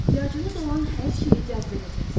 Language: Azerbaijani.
Ehtiyacınız olan hər şeyi cəzb edəcəksiniz.